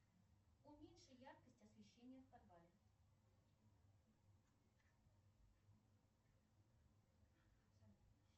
уменьши яркость освещения в подвале